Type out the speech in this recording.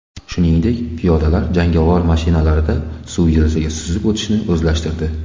Shuningdek, piyodalar jangovar mashinalarida suv yuzasida suzib o‘tishni o‘zlashtirdi.